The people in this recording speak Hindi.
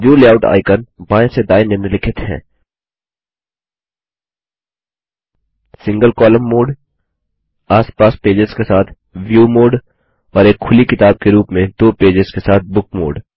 व्यू लेआउट आइकन बाएँ से दाएँ निम्नलिखित हैं सिंगल कॉलम मोड आस पास पेजेस के साथ व्यू मोड और एक खुली किताब के रूप में दो पेजेस के साथ बुक मोड